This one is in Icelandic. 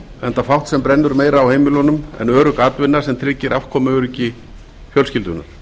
enda fátt sem brennur meira á heimilunum en örugg atvinna sem tryggir afkomuöryggi fjölskyldunnar